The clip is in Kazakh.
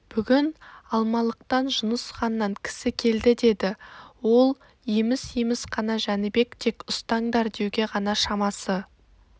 бүгін алмалықтан жұныс ханнан кісі келді деді ол еміс-еміс қана жәнібек тек ұстаңдар деуге ғана шамасы